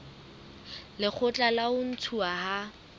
lekgotla la ho ntshuwa ha